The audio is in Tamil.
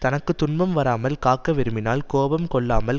தனக்கு துன்பம் வராமல் காக்க விரும்பினால் கோபம் கொள்ளாமல்